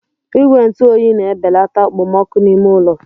Igwe ntụ oyi na-ebelata okpomọkụ n'ime ụlọ.